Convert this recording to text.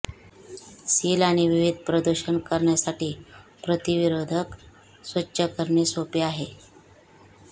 seal आणि विविध प्रदूषण करण्यासाठी प्रतिरोधक स्वच्छ करणे सोपे आहे